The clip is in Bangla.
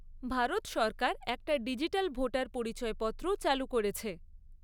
ভারত সরকার একটা ডিজিটাল ভোটার পরিচয়পত্রও চালু করেছে।